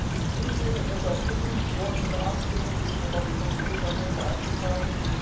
Das ist an sich Unsinn, und deshalb bitte ich morgen in der Abstimmung sich nochmal die Kompromissanträge anzuschauen.